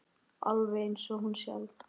Alveg eins og hún sjálf.